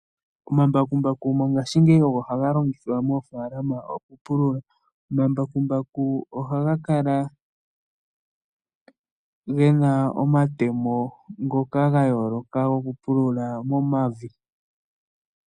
Omambakumbaku mongashingeyi ogo haga longithwa moofalama okupulula ,omambakumbaku ohaga kala gena omatemo ngoka ga yooloka okupulula momavi.